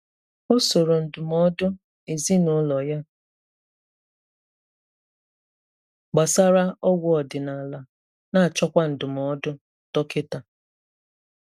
Ọ sòrò ndụmọdụ ezinụlọ ya gbasàra ọgwụ ọdịnala, na-achọkwa ndụmọdụ dọkịta.